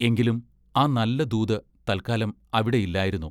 എങ്കിലും ആ നല്ല ദൂത് തൽക്കാലം അവിടെയില്ലായിരുന്നു.